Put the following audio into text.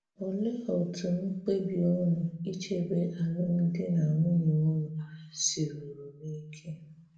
Òlee otú̀ mkpebi ùnu ichebe álụ́mdi na nwunye ùnu siruru n’ike?